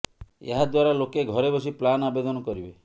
ଏହା ଦ୍ବାରା ଲୋକେ ଘରେ ବସି ପ୍ଲାନ ଆବେଦନ କରିବେ